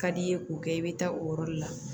Ka d'i ye k'o kɛ i bɛ taa o yɔrɔ de la